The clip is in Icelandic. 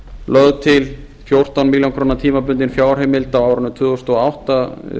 lögð til fjórtán milljónir tímabundin fjárheimild á árinu tvö þúsund og átta